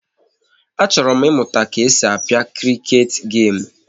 Achọrọ m ịmụta ka e si a pịa kriket gemu